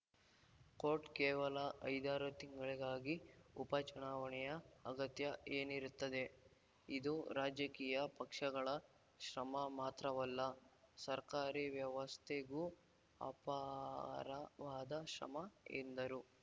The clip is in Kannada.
ಕೋಟ್‌ ಕೇವಲ ಐದಾರು ತಿಂಗಳಿಗಾಗಿ ಉಪ ಚುನಾವಣೆಯ ಅಗತ್ಯ ಏನಿರುತ್ತದೆ ಇದು ರಾಜಕೀಯ ಪಕ್ಷಗಳ ಶ್ರಮ ಮಾತ್ರವಲ್ಲ ಸರ್ಕಾರಿ ವ್ಯವಸ್ಥೆಗೂ ಅಪಾರವಾದ ಶ್ರಮ ಎಂದರು